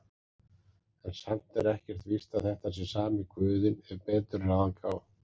En samt er ekkert víst að þetta sé sami guðinn ef betur er að gáð.